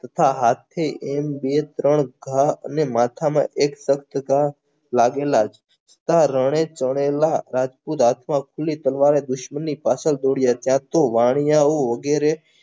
ઉભા હાથથી એમ બે ત્રણ ઘા અને માથામાં એક તટતા લાગેલા આ રણે ચણેલા રાજપૂત રાજ્વાસની દુશ્મનની પાછળ દોડ્યા ત્યાં તો વાણીય ઓ વગેરે